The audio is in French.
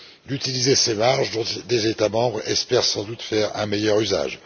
d'utiliser ces marges dont les États membres espèrent sans doute faire un meilleur usage.